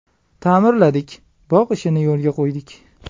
Ta’mirladik, bog‘ ishini yo‘lga qo‘ydik.